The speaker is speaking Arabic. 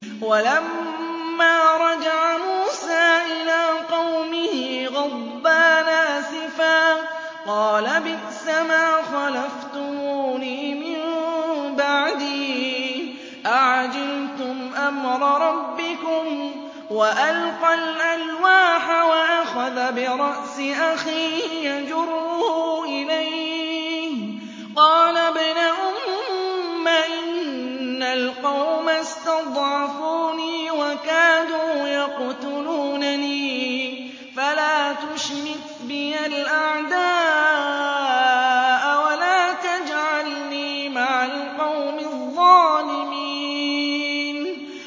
وَلَمَّا رَجَعَ مُوسَىٰ إِلَىٰ قَوْمِهِ غَضْبَانَ أَسِفًا قَالَ بِئْسَمَا خَلَفْتُمُونِي مِن بَعْدِي ۖ أَعَجِلْتُمْ أَمْرَ رَبِّكُمْ ۖ وَأَلْقَى الْأَلْوَاحَ وَأَخَذَ بِرَأْسِ أَخِيهِ يَجُرُّهُ إِلَيْهِ ۚ قَالَ ابْنَ أُمَّ إِنَّ الْقَوْمَ اسْتَضْعَفُونِي وَكَادُوا يَقْتُلُونَنِي فَلَا تُشْمِتْ بِيَ الْأَعْدَاءَ وَلَا تَجْعَلْنِي مَعَ الْقَوْمِ الظَّالِمِينَ